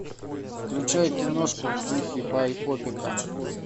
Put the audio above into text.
включай киношку в духе байопика